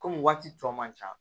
Kɔmi waati tɔ man ca